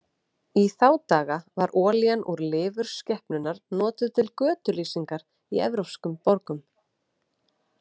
Í þá daga var olían úr lifur skepnunnar notuð til götulýsingar í evrópskum borgum.